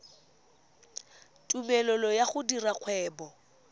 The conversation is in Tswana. tumelelo ya go dira kgwebo